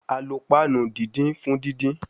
A lo panu didin fun didin